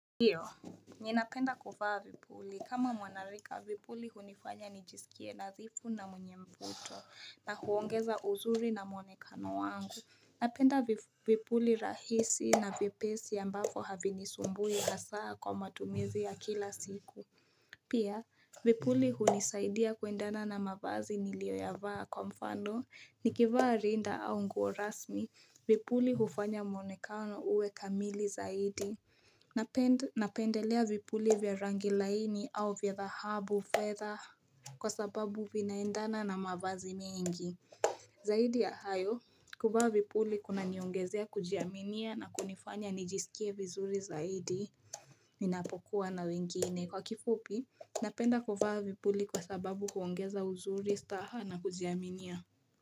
Ndiyo, nina penda kuvaa vipuli kama mwanarika vipuli hunifanya nijisikie nadhifu na mwenye mvuto na huongeza uzuri na mwonekano wangu Napenda vipuli rahisi na vipesi ambafo havinisumbui hasaa kwa matumizi ya kila siku. Pia, vipuli hunisaidia kuendana na mavazi nilio yavaa kwa mfano, nikivaa rinda au nguo rasmi vipuli hufanya mwonekano uwe kamili zaidi. Napendelea vipuli vya rangi laini au vya dhahabu fedha kwa sababu vinaendana na mavazi mengi. Zaidi ya hayo, kuvaa vipuli kuna niongezea kujiaminia na kunifanya nijisikie vizuri zaidi. Ninapokuwa na wengine kwa kifupi, napenda kuvaa vipuli kwa sababu kuongeza uzuri staha na kujiaminia.